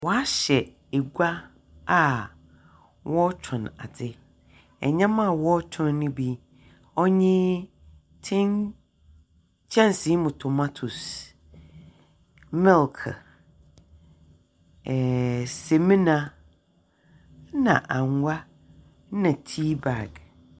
Wɔahyɛ gua a wɔrotɔn adze, ndzɛmba a wɔrotɔn no bi ɔnye tin kyɛnse mu tomatese, milk, ɛɛɛ semina na angoa na teabag.